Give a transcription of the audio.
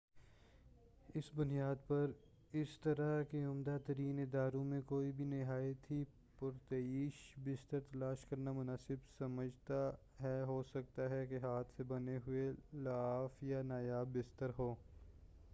اسی بنیاد پر اس طرح کے عمدہ ترین اداروں میں کوئی بھی نہایت ہی پرتعیش بستر تلاش کرنا مناسب سمجھتا ہے ہوسکتا ہے کہ ہاتھ سے بنے ہوئے لحاف یا نایاب بستر ہو